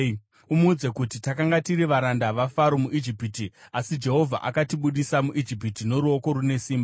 Umuudze kuti, “Takanga tiri varanda vaFaro muIjipiti, asi Jehovha akatibudisa muIjipiti noruoko rune simba.